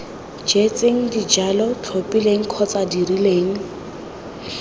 jetseng dijalo tlhophileng kgotsa dirileng